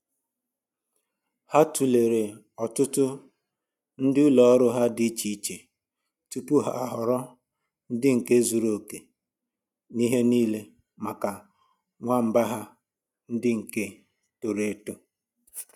Ha tulere ọtụtụ ndị ụlọ ọrụ dị iche iche tupu ha ahọrọ ndị nke zuru okè n'ihe niile maka nwamba ha ndị nke toro eto